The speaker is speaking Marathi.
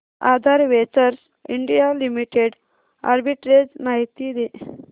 आधार वेंचर्स इंडिया लिमिटेड आर्बिट्रेज माहिती दे